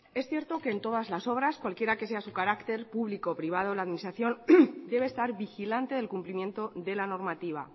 es cierto que en todas las obras cualquiera que sea su carácter público privado la administración debe estar vigilante del cumplimiento de la normativa